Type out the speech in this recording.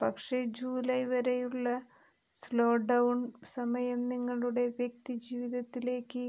പക്ഷെ ജൂലായ് വരെയുള്ള slow down സമയം നിങ്ങളുടെ വ്യക്തി ജീവിതത്തിലേക്ക്